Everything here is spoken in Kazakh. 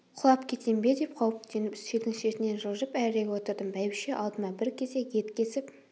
құлап кетем бе деп қауіптеніп үстелдің шетінен жылжып әрірек отырдым бәйбіше алдыма бір кесек ет кесіп